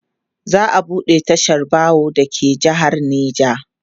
za'a buɗe tashar baro da ke jehar neja